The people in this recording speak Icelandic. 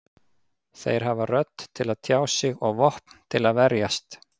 Þeir hafa rödd til að tjá sig og vopn til að verjast.